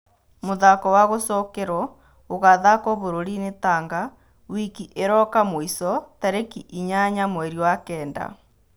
Mũthako wa gũcokerwo ũgathakwo bũrũriinĩ Tanga wiki ĩroka mũico tarĩki inyanya mweri wa-kenda.